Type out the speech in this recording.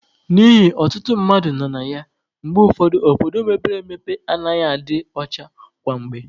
N'ihi ọtụtụ mmadụ nọ na ya, mgbe ụfọdụ obodo mepere emepe anaghị adị ọcha kwa mgbe